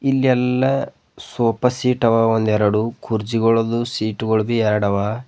ಇಲ್ಲಿ ಎಲ್ಲಾ sofa seat ಅವ ಒಂದೆರಡು ಕುರ್ಚಿ ಗಳದು ಸೀಟು ಗಳು ಎರಡು ಹವಾ.